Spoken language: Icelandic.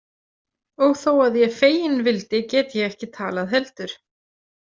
Og þó að ég feginn vildi get ég ekki talað heldur.